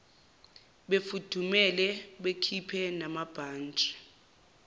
befudumele bekhiphe namabhantshi